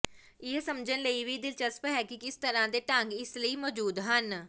ਇਹ ਸਮਝਣ ਲਈ ਵੀ ਦਿਲਚਸਪ ਹੈ ਕਿ ਕਿਸ ਤਰ੍ਹਾਂ ਦੇ ਢੰਗ ਇਸ ਲਈ ਮੌਜੂਦ ਹਨ